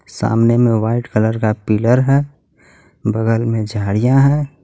सामने मे white colour का पिलर हे बगल मे झाड़ियां हे.